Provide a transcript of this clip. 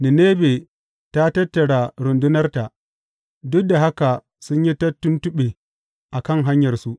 Ninebe ta tattara rundunarta, duk da haka sun yi ta tuntuɓe a kan hanyarsu.